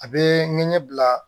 A bɛ ɲɛbila